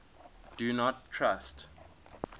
do not trust